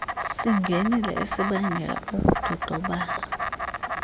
singenile esibangela ukudodobala